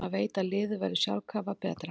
Maður veit að liðið verður sjálfkrafa betra.